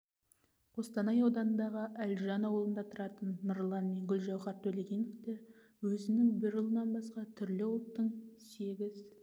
қостанай ауданындағы әлжан ауылында тұратын нұрлан мен гүлжауһар төлегеновтер өзінің бір ұлынан басқа түрлі ұлттың сегіз